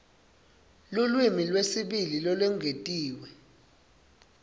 lulwimi lwesibili lolwengetiwe